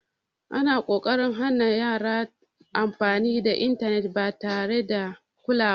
Ana ƙoƙarin hana yaran amfani da intanet ba tare da kulawa ba.